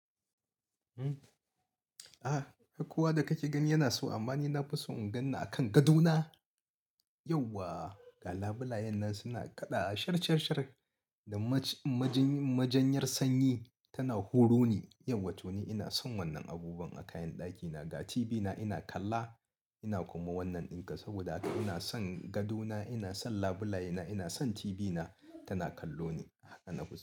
Ah, hakuwa da kake gani yana so amma ni na fi so in gan ni a kan gado na. Yauwa, ga labulayen nan suna kaɗa wa shar shar shar da majinyar sanyi tana huro ni. Yauwa to ni ina son wannan abubuwan a kayan ɗakina. Ga TV na ina kalla ina kuma wannan dinka saboda haka ina son gadona, ina son labulayena, ina son TV na tana kallo ni. Haka na fi so.